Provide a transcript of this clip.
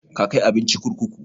Ka kai abinci kurkuku?